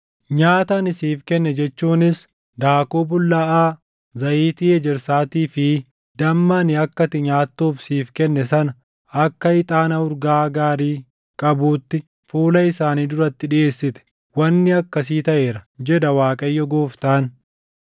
Nyaata ani siif kenne jechuunis daakuu bullaaʼaa, zayitii ejersaatii fi damma ani akka ati nyaattuuf siif kenne sana akka ixaana urgaa gaarii qabuutti fuula isaanii duratti dhiʼeessite. Wanni akkasii taʼeera, jedha Waaqayyo Gooftaan.